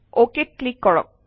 অকেত click কৰক